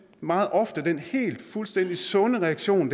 meget ofte den helt fuldstændig sunde reaktion